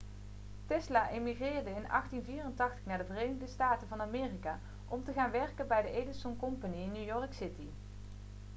tesla emigreerde in 1884 naar de verenigde staten van amerika om te gaan werken bij de edison company in new york city